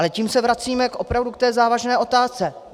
Ale tím se vracíme opravdu k té závažné otázce.